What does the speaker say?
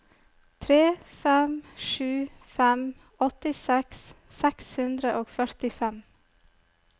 tre fem sju fem åttiseks seks hundre og førtifem